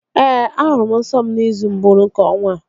Ee, ahụrụ m nsọ m n'izu mbụ nke ọnwa a